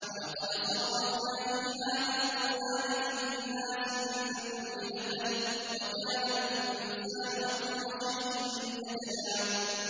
وَلَقَدْ صَرَّفْنَا فِي هَٰذَا الْقُرْآنِ لِلنَّاسِ مِن كُلِّ مَثَلٍ ۚ وَكَانَ الْإِنسَانُ أَكْثَرَ شَيْءٍ جَدَلًا